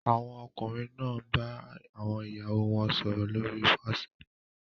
Àwọn ọkùnrin náà ń bá àwọn ìyàwó wọn sọ̀rọ̀ lórí Whatsapp